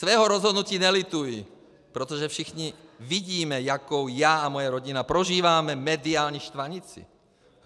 Svého rozhodnutí nelituji, protože všichni vidíme, jakou já a moje rodina prožíváme mediální štvanici.